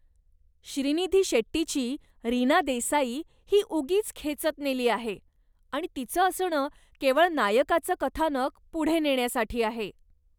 श्रीनिधी शेट्टीची रीना देसाई ही उगीच खेचत नेली आहे आणि तिचं असणं केवळ नायकाचं कथानक पुढे नेण्यासाठी आहे.